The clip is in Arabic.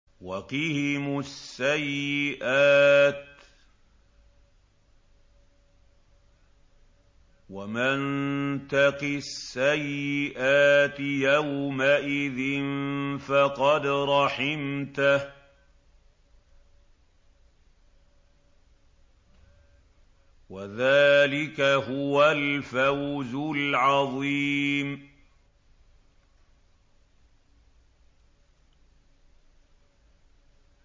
وَقِهِمُ السَّيِّئَاتِ ۚ وَمَن تَقِ السَّيِّئَاتِ يَوْمَئِذٍ فَقَدْ رَحِمْتَهُ ۚ وَذَٰلِكَ هُوَ الْفَوْزُ الْعَظِيمُ